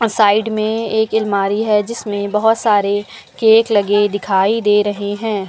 और साइड में एक अलमारी है जिसमें बहुत सारे केक लगे दिखाई दे हैं।